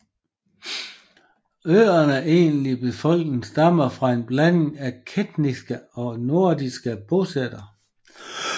Øernes egentlige befolkning stammer fra en blanding af keltiske og norske bosættere